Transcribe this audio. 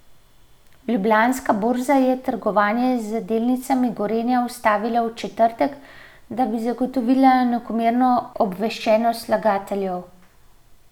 Ljubljanska borza je trgovanje z delnicami Gorenja ustavila v četrtek, da bi zagotovila enakomerno obveščenost vlagateljev.